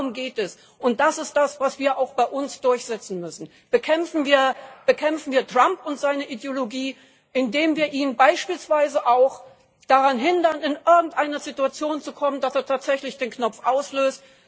Darum geht es, und das ist das, was wir auch bei uns durchsetzen müssen. Bekämpfen wir Trump und seine Ideologie, indem wir ihn beispielsweise auch daran hindern, in irgendeine Situation zu kommen, dass er tatsächlich den Knopf auslöst!